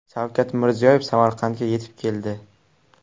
Shavkat Mirziyoyev Samarqandga yetib keldi.